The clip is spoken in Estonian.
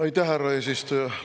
Aitäh, härra eesistuja!